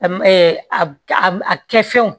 A m ɛɛ a kɛ fɛnw